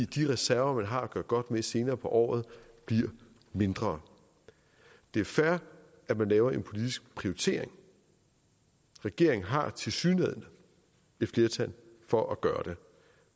de reserver man har at gøre godt med senere på året bliver mindre det er fair at man laver en politisk prioritering regeringen har tilsyneladende et flertal for at gøre det